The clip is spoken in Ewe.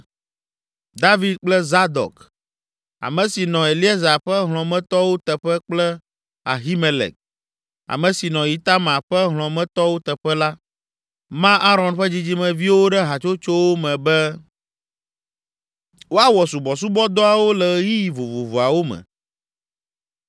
David kple Zadok, ame si nɔ Eleazar ƒe hlɔ̃metɔwo teƒe kple Ahimelek, ame si nɔ Itamar ƒe hlɔ̃metɔwo teƒe la, ma Aron ƒe dzidzimeviwo ɖe hatsotsowo me be, woawɔ subɔsubɔdɔawo le ɣeyiɣi vovovoawo me.